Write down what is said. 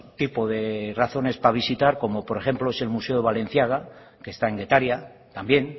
tipo de razones para visitar como por ejemplo es el museo balenciaga que están en getaria también